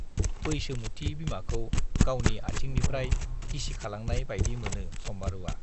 बैसोमुथि बिमाखौ गावनि आथिंनिफ्राय गिसिखालांनाय बाइदि मोनो सम्बारुवा।